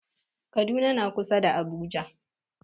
Kaduna na kusa da Abuja.